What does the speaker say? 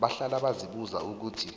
bahlale bazibuza ukuthi